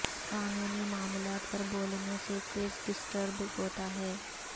قانونی معاملات پر بولنے سے کیس ڈسٹرب ہوتا ہے